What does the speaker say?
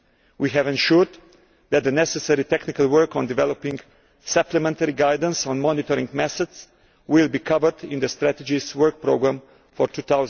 We have ensured that the necessary technical work on developing supplementary guidance on monitoring methods will be covered in the strategy's work programme for